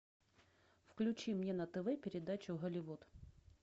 включи мне на тв передачу голливуд